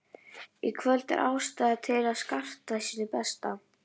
Í kvöld er ástæða til að skarta sínu besta.